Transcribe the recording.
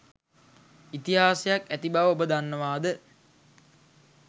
ඉතිහාසයක් ඇති බව ඔබ දන්නවාද?